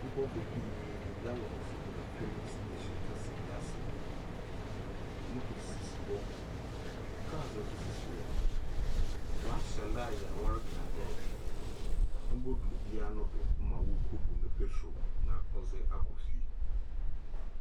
Nkorɔfo pii dze gallons gyina filling station kɛse bi ase, motos sisi hɔ, cars so sisi hɔ, wɔahyɛ line a wɔrotweɔn dɛ obodu obiara no do ma woeekobu ne petro na wɔakɔ fie.